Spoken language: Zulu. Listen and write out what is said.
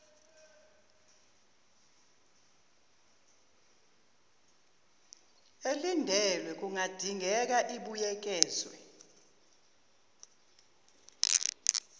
elindelwe kungadingeka ibuyekezwe